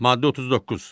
Maddə 39.